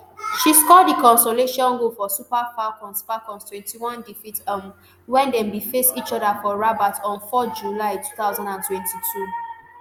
she score di consolation goal for super falcons falcons twenty-one defeat um wen dem bin face each oda for rabat on four july two thousand and twenty-two